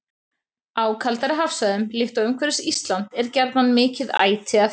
Á kaldari hafsvæðum, líkt og umhverfis Ísland, er gjarnan mikið æti að finna.